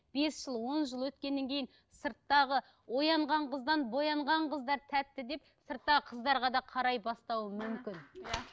бес жыл он жыл өткеннен кейін сырттағы оянған қыздан боянған қыздар тәтті деп сырттағы қыздарға да қарай бастауы мүмкін иә